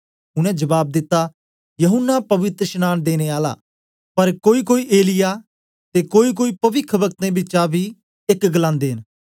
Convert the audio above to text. उनै जबाब दिता यूहन्ना पवित्रशनांन देने आला पर कोईकोई एलिय्याह ते कोईकोई पविखवक्तें बिचा बी एक गलांदे न